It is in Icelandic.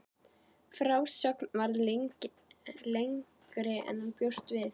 Frásögnin varð lengri en hann bjóst við.